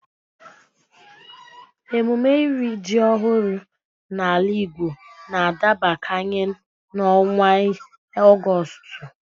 Emume iri ji ọhụrụ n'ala Igbo n'adabakanye n'ọnwa Ọgọstụ